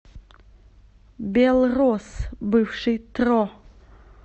белрос бывший тро